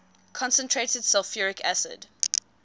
concentrated sulfuric acid